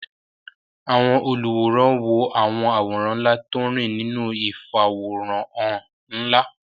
Àwọn olùwòran wo àwọn àwòrán ńlá tó ń rìn nínú ìfàwòránhàn ńlá